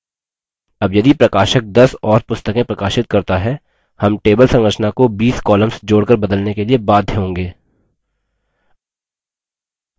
अब यदि प्रकाशक दस और पुस्तकें प्रकाशित करता है हम table संरचना को 20 columns जोड़कर बदलने के लिए बाध्य होंगे